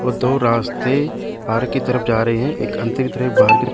वो दो रास्ते पार्क की तरफ जा रहे हैं एक अंदर की तरफ एक बाहर की --